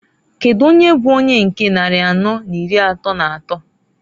Kedu ony bu onye nke nnari anọọ na iri atọọ n'atọọ?